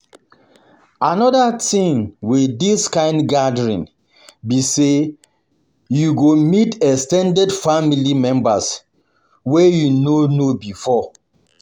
Another thing with this kind gathering be say you go meet ex ten ded family members wey you no know before.